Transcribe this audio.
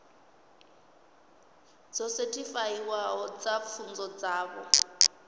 dzo sethifaiwaho dza pfunzo dzavho